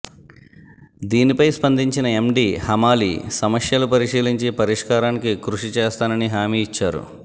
దీనిపై స్పందించిన ఎండి హమాలీ సమస్యలు పరిశీలించి పరిష్కారానికి కృషి చేస్తానని హామీ ఇచ్చారు